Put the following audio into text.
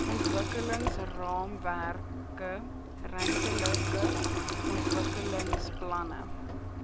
ontwikkelingsraamwerke ruimtelike ontwikkelingsplanne